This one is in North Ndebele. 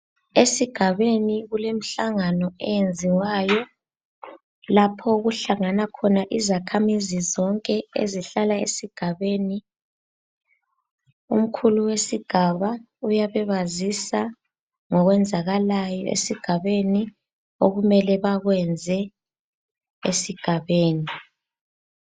Esigabeni kulemhlangano eyenziwayo lapho okuhlangana khona izakhamizi zonke ezihlala esigabeni. Omkhulu wesigaba uyabe ebazisa ngokwenzakalayo esigabeni okumele bakwenze esigabeni